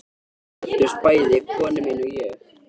Við glöddumst bæði, kona mín og ég